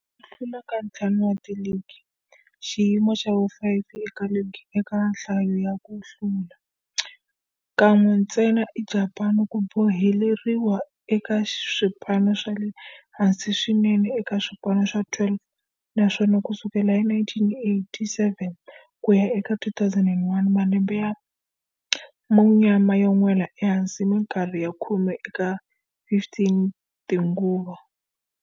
Ku hlula ka ntlhanu wa ligi, xiyimo xa vu-5 eka ligi eka nhlayo ya ku hlula, kan'we ntsena eJapani, ku boheleriwile eka swipano swa le hansi swinene eka swipano swa 12, naswona ku sukela hi 1987 ku ya eka 2001, malembe ya munyama yo nwela ehansi minkarhi ya khume eka 15 tinguva.